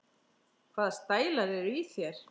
Hvaða stælar eru í þér?